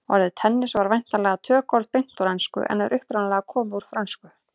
Orðið tennis en væntanlega tökuorð beint úr ensku en er upprunalega komið úr frönsku.